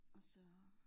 Og så